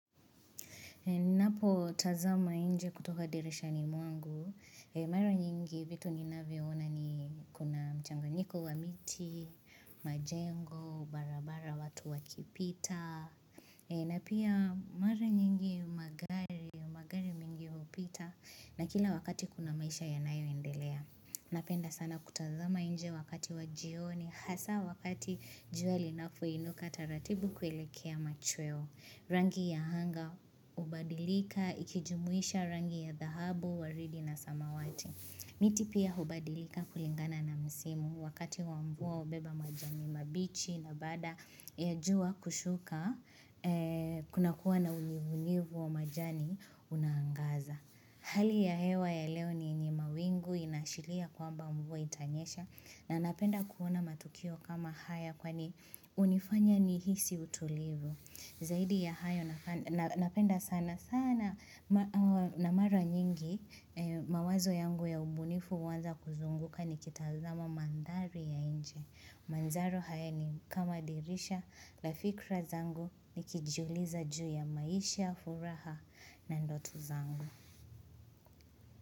Ninapo tazama nje kutoka dirisha ni mwangu, mara nyingi vitu ninavyona ni kuna mchanganyiko wa miti, majengo, barabara watu wakipita, na pia mara nyingi magari upita. Na kila wakati kuna maisha yanayo indelea. Napenda sana kutazama nje wakati wa jioni. Hasa wakati jua linapoinuka taratibu kuelekea machweo. Rangi ya anga, ubadilika, ikijumuisha rangi ya dhahabu, waridi na samawati. Miti pia hubadilika kulingana na msimu wakati wa mvua hubeba majani mabichi na baada ya jua kushuka kunakua na umivunivu wa majani unaangaza hali ya hewa ya leo ni ni mawingu inashilia kwamba mbua itanyesha na napenda kuona matukio kama haya kwani unifanya nihisi utulivu Zaidi ya hayo napenda sana sana na mara nyingi mawazo yangu ya ubunifu uanza kuzunguka nikitazama mandhari ya nje. Mandharo haya ni kama dirisha na fikra zangu nikijuliza juu ya maisha, furaha na ndoto zangu.